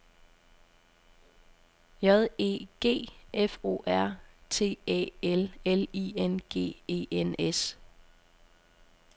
J E G F O R T Æ L L I N G E N S